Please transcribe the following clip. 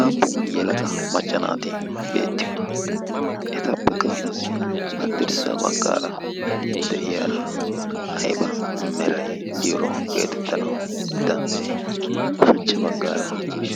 aappun yelaqa macca naati beettiyoona etappekka qassi haddirssa baggaara de'iyaara ayba meray diyooro geetettanawu danddayee ushachcha baggaara